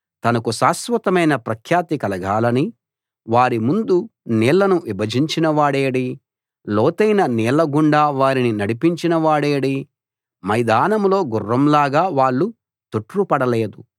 తనకు శాశ్వతమైన ప్రఖ్యాతి కలగాలని వారిముందు నీళ్లను విభజించినవాడేడి లోతైన నీళ్ళగుండా వారిని నడిపించిన వాడేడి మైదానంలో గుర్రం లాగా వాళ్ళు తొట్రుపడలేదు